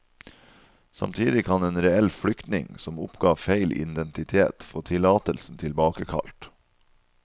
Samtidig kan en reell flyktning, som oppga feil identitet, få tillatelsen tilbakekalt.